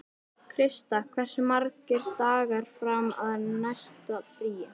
Krista, hversu margir dagar fram að næsta fríi?